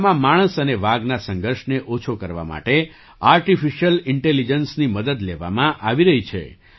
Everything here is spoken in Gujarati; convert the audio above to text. ચંદ્રપુર જિલ્લામાં માણસ અને વાઘના સંઘર્ષને ઓછો કરવા માટે આર્ટિફિશિયલ ઇન્ટેલિજન્સની મદદ લેવામાં આવી રહી છે